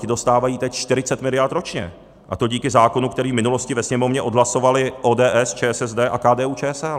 Ti dostávají teď 40 miliard ročně, a to díky zákonu, který v minulosti ve Sněmovně odhlasovaly ODS, ČSSD a KDU-ČSL.